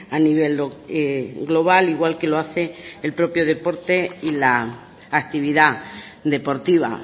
a nivel global igual que lo hace el propio deporte y la actividad deportiva